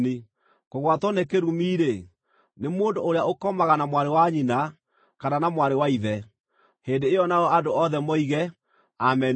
“Kũgwatwo nĩ kĩrumi-rĩ, nĩ mũndũ ũrĩa ũkomaga na mwarĩ wa nyina, kana na mwarĩ wa ithe.” Hĩndĩ ĩyo nao andũ othe moige, “Ameni!”